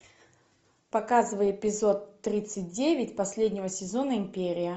показывай эпизод тридцать девять последнего сезона империя